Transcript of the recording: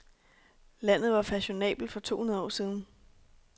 Landet var fashionabelt for to hundrede år siden.